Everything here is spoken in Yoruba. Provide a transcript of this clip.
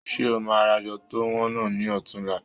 Ṣe o máa ra aṣọ to wọn náà ni ọ̀tunla?